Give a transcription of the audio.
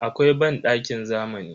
Akwai bandakin zamani.